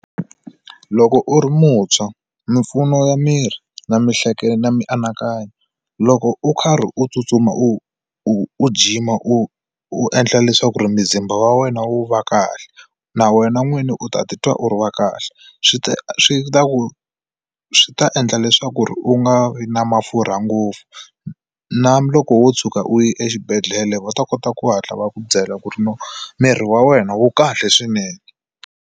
Loko u ri muntshwa mimpfuno ya miri na na mianakanyo loko u karhi u tsutsuma u u jima u u endla leswaku ri muzimba wa wena wu va kahle na wena n'wini u ta ti twa u ri wa kahle swi ta swi ta ku swi ta endla leswaku ri u nga vi na mafurha ngopfu na loko wo tshuka u yi exibedhlele va ta kota ku hatla va ku byela ku ri miri wa wena wu kahle swinene.